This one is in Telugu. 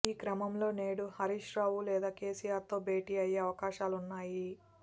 ఈ క్రమంలో నేడు హరీష్ రావు లేదా కేసీఆర్ తో భేటీ అయ్యేఅవకాశాలున్నాయి